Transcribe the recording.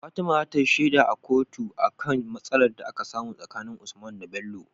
fatima zatayi sheda a kotun, akan matsalar da aka samun tsakanin usman da Bello